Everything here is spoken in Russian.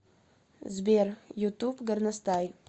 сбер ютуб горностай